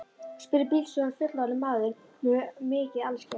spurði bílstjórinn, fullorðinn maður með mikið alskegg.